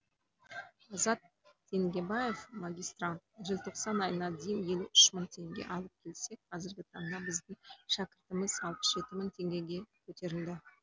азат теңгебаев магистрант желтоқсан айына дейін елу үш мың теңге алып келсек қазіргі таңда біздің шәкіртіміз алпыс жеті мың теңгеге көтерілді